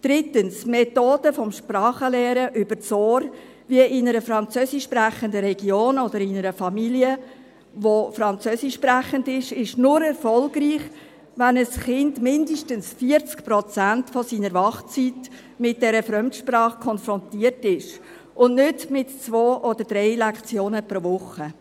Drittens: Die Methode des Sprachenlernens übers Ohr, wie in einer französischsprechenden Region oder in einer Familie, die französischsprechend ist, ist nur erfolgreich, wenn ein Kind mindestens 40 Prozent seiner Wachzeit mit dieser Fremdsprache konfrontiert ist, und nicht mit 2 oder 3 Lektionen pro Woche.